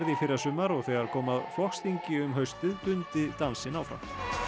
í fyrrasumar og þegar kom að flokksþingi um haustið dundi dansinn áfram